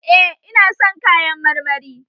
Eh ina son kayan marmari